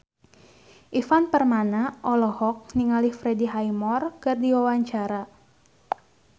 Ivan Permana olohok ningali Freddie Highmore keur diwawancara